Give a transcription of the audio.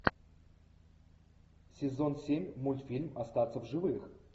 сезон семь мультфильм остаться в живых